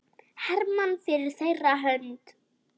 Hermann fyrir þeirra hönd.